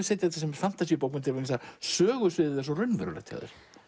setja þetta sem fantasíubókmenntir því að sögusviðið er svo raunverulegt hjá þér